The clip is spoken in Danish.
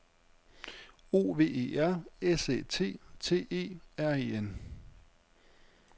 O V E R S Æ T T E R E N